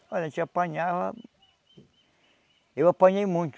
Olha, a gente apanhava... Eu apanhei muito.